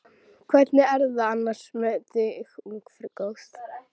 Um þær mundir var hann aftur byrjaður að eignast hús.